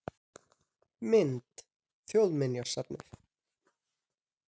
Mynd: Þjóðminjasafnið